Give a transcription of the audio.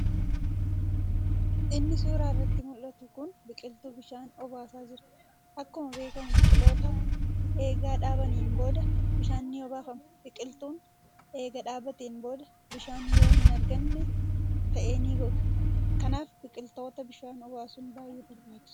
Inni suuraa irratti muldhatu kun biqiltuu bishaan obaasaa jira. Akkuma beekkamu biqiltoota eega dhaabaniin booda bishaan ni obaafama. Biqiltuun eega dhaabateen booda bishaan yoo hin arganne ta'e ni goga. kanaaf biqilttota bishaan obaasuun baay'ee barbaachisaadha.